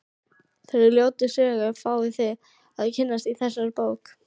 Þeirri ljótu sögu fáið þið að kynnast í þessari bók.